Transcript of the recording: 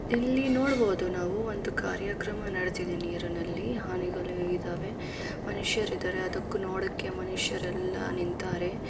ಇಲ್ಲಿ ನೋಡ್ಬೋದು ನಾವು ಒಂದು ಕಾರ್ಯಕ್ರಮ ನಡಿತಿದೆ ನೀರಿನಲ್ಲಿ ಹಾನಿಗಳು ಇದಾವೆ ಮನುಷ್ಯರಿದಾರೆ ಅದಕ್ಕೂ ನೋಡಕೆ ಮನುಷುರೆಲ್ಲ ನಿಂತಾರೆ.